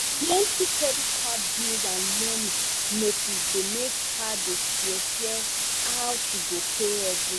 the plenty credit card bills and loan notice dey make her dey fear fear how she go pay everything.